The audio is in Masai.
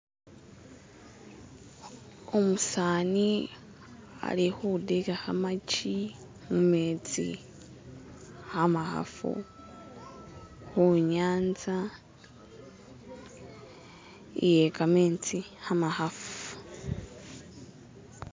umusani ali hudila hamachi mumetsi hamahafu hunyanza iyekametsi hamahafu